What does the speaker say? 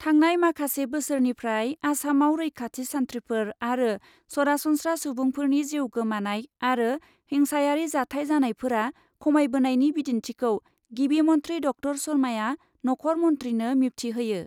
थांनाय माखासे बोसोरनिफ्राय आसामाव रैखाथि सान्थ्रिफोर आरो सरासनस्रा सुबुंफोरनि जिउ गोमानाय आरो हिंसायारि जाथाय जानायफोरा खमायबोनायनि बिदिन्थिखौ गिबि मन्थ्रि ड. शर्माआ नखर मन्थ्रिनो मिबथिहोयो ।